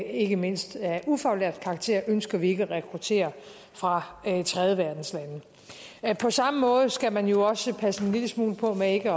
ikke mindst af ufaglært karakter ønsker vi ikke at rekruttere fra tredjeverdenslande på samme måde skal man jo også passe en lille smule på med ikke